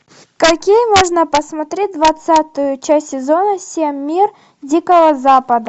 какие можно посмотреть двадцатую часть сезона семь мир дикого запада